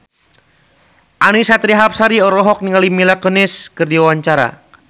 Annisa Trihapsari olohok ningali Mila Kunis keur diwawancara